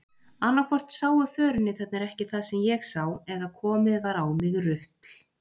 Annaðhvort sáu förunautarnir ekki það sem ég sá eða komið var á mig rutl.